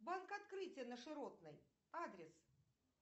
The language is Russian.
банк открытие на широтной адрес